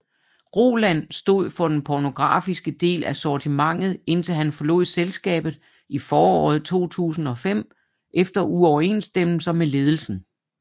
Roland stod for den pornografiske del af sortimentet indtil han forlod selskabet i foråret 2005 efter uoverensstemmelser med ledelsen